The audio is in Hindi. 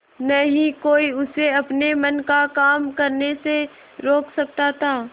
न ही कोई उसे अपने मन का काम करने से रोक सकता था